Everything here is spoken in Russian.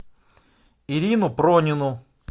ирину пронину